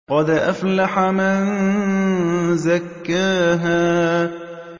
قَدْ أَفْلَحَ مَن زَكَّاهَا